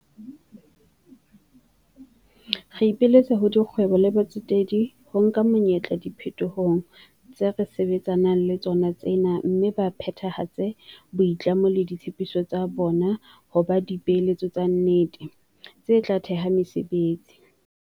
Re ipiletsa ho dikgwebo le batsetedi ho nka monyetla diphetohong tse re sebetsa nang ka tsona tsena mme ba phethahatse boitlamo le ditshepiso tsa bona ho ba dipeeletso tsa nnete, tse tla theha mesebetsi.